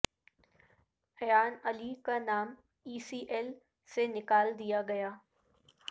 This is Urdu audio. ایان علی کا نام ای سی ایل سے نکال دیا گیا